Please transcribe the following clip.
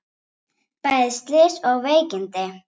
Bæði slys og veikindi